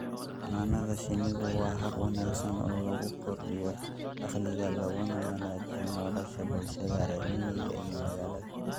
Xannaanada shinnidu waa hab wanaagsan oo lagu kordhiyo dakhliga laguna wanaajiyo nolosha bulshada reer miyiga iyo magaalada.